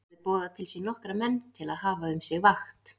Hann hafði boðað til sín nokkra menn til að hafa um sig vakt.